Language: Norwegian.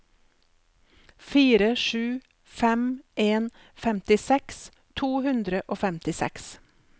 fire sju fem en femtiseks to hundre og femtiseks